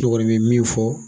Ne kɔni mɛ min fɔ